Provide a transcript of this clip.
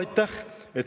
Aitäh!